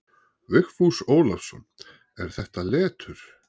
Vigfús Ólafsson: Er þetta letur?